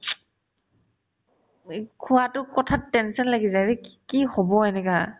এই খোৱাতো কথাত tension লাগি যাই ৰে কি কি হ'ব এনেকা